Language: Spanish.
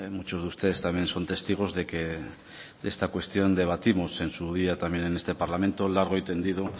muchos de ustedes también son testigos de que de esta cuestión debatimos en su día también en este parlamento largo y tendido